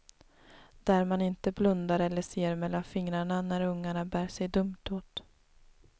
Där man inte blundar eller ser mellan fingrarna när ungarna bär sig dumt åt.